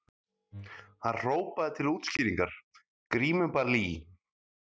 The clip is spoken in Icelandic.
Hann hrópaði til útskýringar:- Grímuball í